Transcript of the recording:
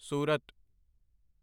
ਸੂਰਤ